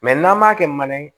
Mɛ n'an m'a kɛ mana ye